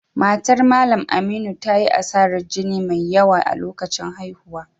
Matar Mallam Aminu ta yi asarar jini mai yawa a lokacin haihuwa